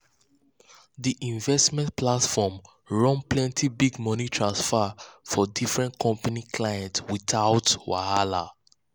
the investment platform run plenty big money transfer from different company clients without wahala.